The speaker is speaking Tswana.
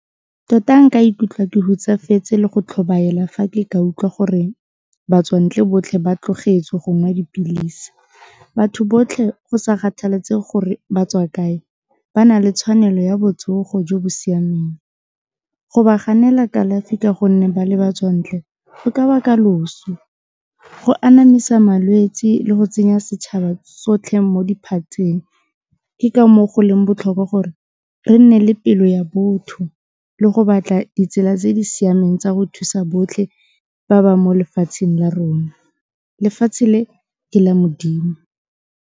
Tota nka ikutlwa ke hutsafetse le go tlhobaela fa ke ka utlwa gore batswantle botlhe ba tlogetse go nwa dipilisi, batho botlhe go sa kgathaletsege gore ba tswa kae, ba na le tshwanelo ya botsogo jo bo siameng, go ba ganela kalafi ka gonne ba le batswantle go ka baka loso, go anamisa malwetsi le go tsenya setšhaba sotlhe mo diphatseng, ke ka moo go leng botlhokwa bo gore re nne le pelo ya botho le go batla ditsela tse di siameng tsa go thusa botlhe ba ba mo lefatsheng la rona, lefatshe le ke la modimo.